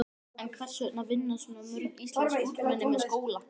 En hvers vegna vinna svona mörg íslensk ungmenni með skóla?